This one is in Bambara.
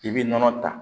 I bɛ nɔnɔ ta